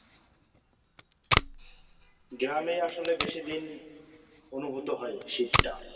গ্রামে আসলে বেশিদিন অনুভূতি হয় শীতটা